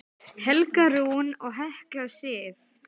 Helga Rún og Hekla Sif.